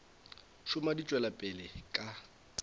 šoma di tšwela pele ka